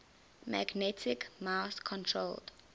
magnetic mouse controlled